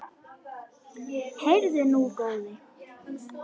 Heyrðu nú, góði!